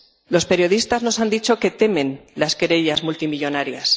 Los periodistas nos han dicho que temen las querellas multimillonarias.